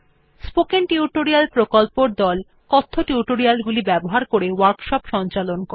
spoken tutorial প্রকল্পর দল কথ্য টিউটোরিয়াল গুলি ব্যবহার করে ওয়ার্কশপ সঞ্চালন করে